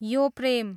यो प्रेम